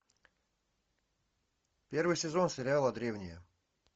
первый сезон сериала древние